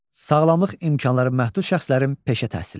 Sağlamlıq imkanları məhdud şəxslərin peşə təhsili.